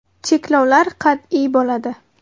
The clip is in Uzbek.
Cheklovlar qat’iy bo‘ladi.